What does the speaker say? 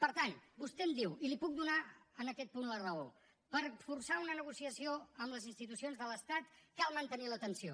per tant vostè em diu i li puc donar en aquest punt la raó per forçar una negociació amb les institucions de l’estat cal mantenir la tensió